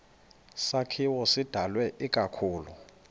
sakhiwo sidalwe ikakhulu